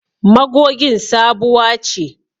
Magogin sabuwa ce.